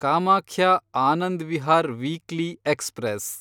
Kamakhya Anand Vihar weekly express